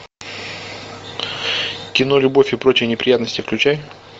кино любовь и прочие неприятности включай